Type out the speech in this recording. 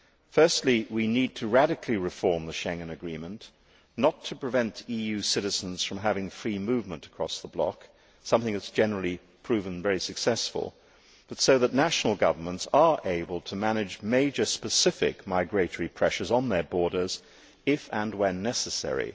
Firstly, we need to radically reform the Schengen Agreement, not to prevent EU citizens from having free movement across the bloc something that has generally proven very successful but so that national governments are able to manage major specific migratory pressures on their borders, if and when necessary.